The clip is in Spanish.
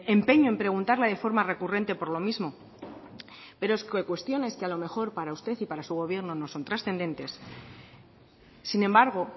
empeño en preguntarle de forma recurrente por lo mismo pero es que cuestiones que a lo mejor para usted y su gobierno no son trascendentes sin embargo